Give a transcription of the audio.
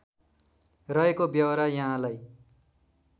रहेको व्यहोरा यहाँलाई